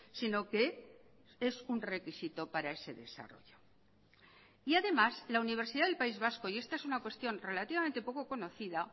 sino que es un requisito para ese desarrollo y además la universidad del país vasco y esta es una cuestión relativamente poco conocida